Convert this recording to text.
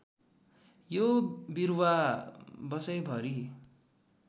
यो बिरुवा वषैभरि